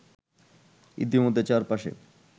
ইতিমধ্যে চার পাশে